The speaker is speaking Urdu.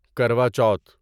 کروا چوتھ